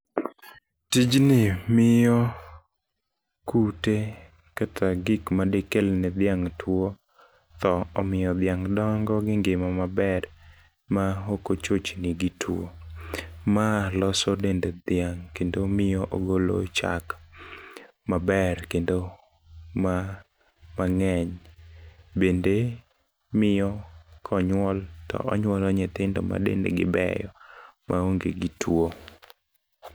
Tijni miyo kute kata gik madikelone dhiang' tuwo, tho. Omiyo dhiang' dongo gi ngima maber ma ok ochochni gi tuwo. Ma loso dend dhiang' kendo miyo ogolo chak maber, kendo mang'eny. Bende miyo konyuol, to onyuolo nyithindo ma dendgi beyo ma onge gi tuwo.